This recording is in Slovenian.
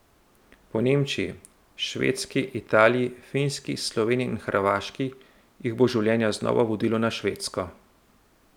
Po Nemčiji, Švedski, Italiji, Finski, Sloveniji in Hrvaški jih bo življenje znova vodilo na Švedsko.